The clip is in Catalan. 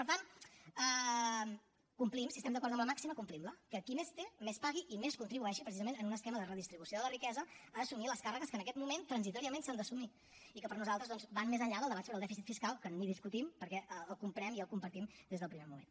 per tant complim si estem d’acord amb la màxima complim la que qui més té més pagui i més contribueixi precisament en un esquema de redistribució de la riquesa a assumir les càrregues que en aquest moment transitòriament s’han d’assumir i que per nosaltres doncs van més enllà del debat sobre el dèficit fiscal que ni discutim perquè el comprem i el compartim des del primer moment